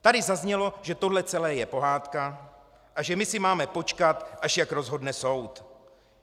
Tady zaznělo, že tohle celé je pohádka a že my si máme počkat, až jak rozhodne soud.